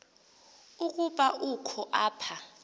ukuba ukho apha